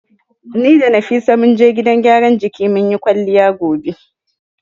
Ni da Nafisa zamu je gidan gyaran jikin muyi kwalliya gobe.